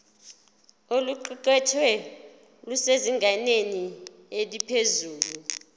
oluqukethwe lusezingeni eliphezulu